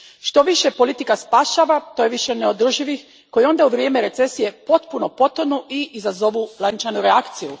Što više politika spašava, to je više neodrživih koji onda u vrijeme recesije potpuno potonu i izazovu lančanu reakciju.